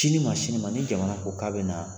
Sini ma sini ma ni jamana fo k'a bɛna